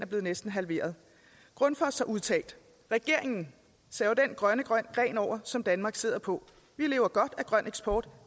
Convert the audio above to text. blevet næsten halveret grundfos kommunikationsdirektør har udtalt regeringen saver den grønne gren over som danmark sidder på vi lever godt af grøn eksport